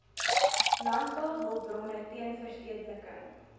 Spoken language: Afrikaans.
landbouhulpbronne teen verstedeliking